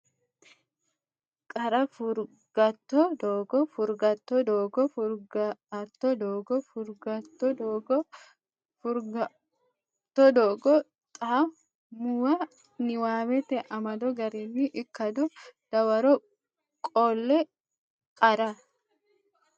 Qarra Furgaote doogo Furgaote doogo Furgaote doogo Furgaote doogo Furgaote doogo xa muwa niwaawete amado garinni ikkado dawaro qolle Qarra.